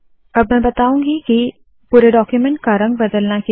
अब मैं बताऊँगी की कितना सरल है पुरे डाक्यूमेन्ट का रंग बदलना